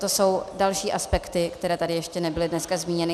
To jsou další aspekty, které tady ještě nebyly dnes zmíněny.